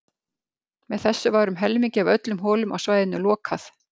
Með þessu var um helmingi af öllum holum á svæðinu lokað.